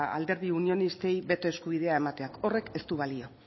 alderdi unionistei beto eskubidea emateak horrek ez du balio